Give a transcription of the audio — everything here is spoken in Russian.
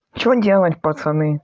что делать пацаны